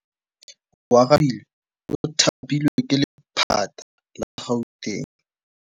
Oarabile o thapilwe ke lephata la Gauteng.